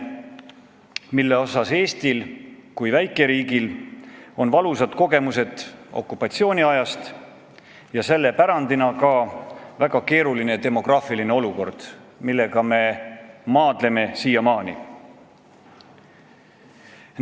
Selle koha pealt on Eestil kui väikeriigil valusad kogemused okupatsiooniajast ja selle pärandina ka väga keeruline demograafiline olukord, millega me siiamaani maadleme.